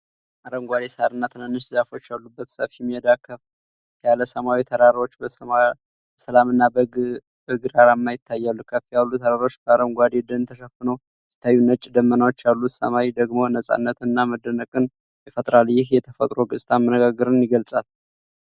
አረንጓዴ ሣርና ትናንሽ ዛፎች ያሉበት ሰፊ ሜዳ ከፍ ያለ ሰማያዊ ተራራዎች በሰላምና በግርማ ይታያሉ። ከፍ ያሉ ተራራዎች በአረንጓዴ ደን ተሸፍነው ሲታዩ፤ ነጭ ደመናዎች ያሉት ሰማይ ደግሞ ነፃነትን እና መደነቅን ይፈጥራል። ይህ የተፈጥሮ ገጽታ መረጋጋትን ይገልጻል።